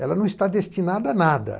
Ela não está destinada a nada.